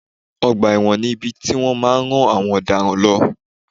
Ọgbà ẹ̀wọ̀n ni ibi tí wọ́n má a nrán àwọn ọ̀daràn lọ